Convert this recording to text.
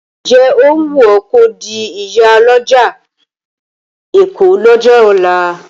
Ǹ jẹ́ ó wùn ọ́ kò di ìyálọ́jà ọjà Èkó lọ́jọ́ ọ̀la?